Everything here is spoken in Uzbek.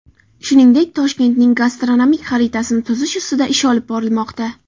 Shuningdek, Toshkentning gastronomik xaritasini tuzish ustida ish olib borilmoqda.